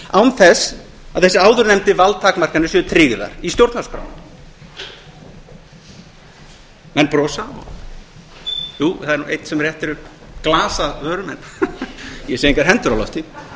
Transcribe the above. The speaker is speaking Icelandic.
án þess að þessar áðurnefndu valdtakmarkanir séu tryggðar í stjórnarskrá menn brosa jú það er einn sem réttir upp glas að vörum en ég sé engar hendur á lofti